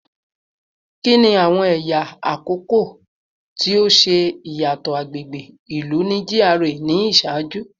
Kini awọn ẹya akọkọ ti o ṣe iyatọ agbegbe ilu ni GRA ni iṣaaju?